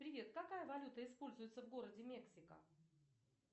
привет какая валюта используется в городе мексика